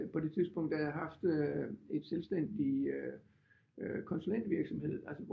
På det tidspunkt der havde jeg haft øh et selvstændig konsulentvirksomhed altså